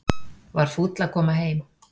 Var fúll að koma heim